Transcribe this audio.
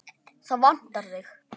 Það vantar þig.